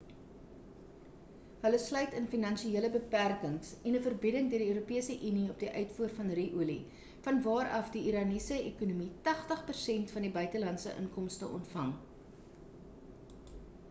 hulle sluit in finansiële beperkings en 'n verbieding deur die europese unie op die uitvoer van ru-olie van waar af die iraniese ekonomie 80% van sy buitelandse inkomste ontvang